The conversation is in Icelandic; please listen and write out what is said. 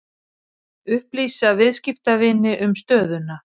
Upplýsa viðskiptavini um stöðuna